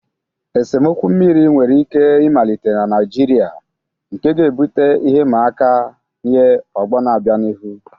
Esemokwu mmiri nwere ike ịmalite na Naịjirịa, nke ga-ebute ihe ịma aka nye ọgbọ na-abịa n'ihu.